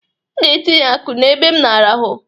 I ga-atinye ọkụ n'ebe m na-arahụ!